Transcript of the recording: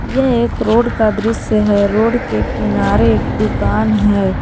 यह एक रोड का दृश्य है रोड के किनारे एक दुकान है।